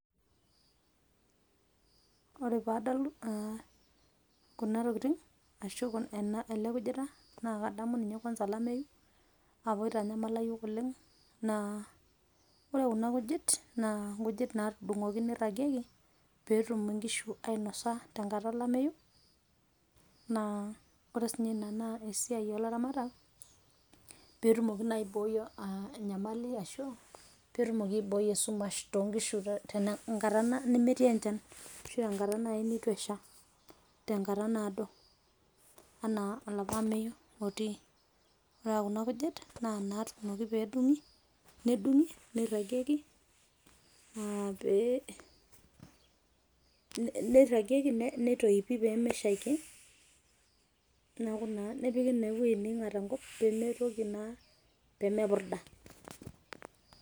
Kore paa adol Kuna tokitin arashu aa ele kujita naa kadamu ninye kwasa alameyu apa itanyamala yiok oleng',ore kuna kujit naa kedung'i neirragieki peetum enkishu ainosa tenkata olameyu naa ore siinye Ina naa esiaiai ilaramatak pee etumoki naa aiboi enyamali ashu pee etumoki aiboi esumash toonkishu tenkata nemetii enchan ashu tenkata naaji neitu eshaa tenkata naado, enaa olapa ameyu otii, ore Kuna kujit naa inaatunoki peedung'i nedung'i neirragieki aa pee aa neirragieki neitoipi peemeshaiki neeku naa nepiki naa ewueji neing'at Enkop peemitoki naa, peemepurda.